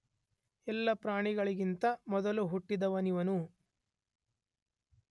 ಎಲ್ಲ ಪ್ರಾಣಿಗಳಿಗಿಂತ ಮೊದಲು ಹುಟ್ಟಿದವನಿವನು.